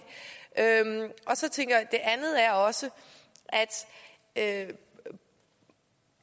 det andet er også at vi